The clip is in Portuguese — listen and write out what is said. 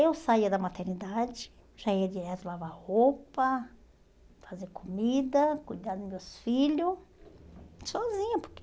Eu saía da maternidade, já ia direto lavar roupa, fazer comida, cuidar dos meus filhos, sozinha, porque...